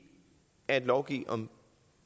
at lovgive om